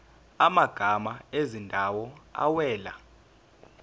amagama ezindawo awela